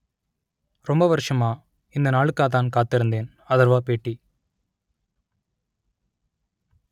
ரொம்ப வருஷமா இந்த நாளுக்காகத்தான் காத்திருந்தேன் அதர்வா பேட்டி